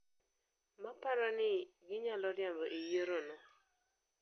maparo ni ginyalo riambo e yiero no...